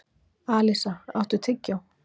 Alísa, áttu tyggjó?